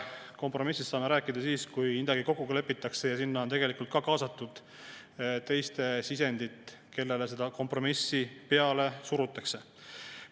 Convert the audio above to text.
Kompromissist saame rääkida alles siis, kui midagi ikka kokku lepitakse ja kui sinna on kaasatud ka teiste sisendit, nende oma, kellele seda kompromissi peale surutakse.